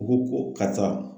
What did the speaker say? U ko ko karisa